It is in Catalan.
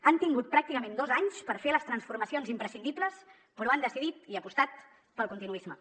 han tingut pràcticament dos anys per fer les transformacions imprescindibles però han decidit i apostat pel continuisme